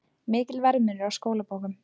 Mikill verðmunur á skólabókum